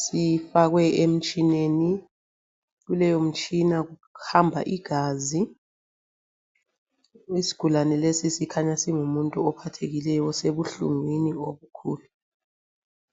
sifakwe emtshineni. Kuleyomtshina kuhamba igazi. Isigulane lesi sikhanya singumuntu ophathekileyo osebuhlungwini obukhulu.